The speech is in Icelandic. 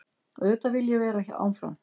Auðvitað vil ég vera áfram.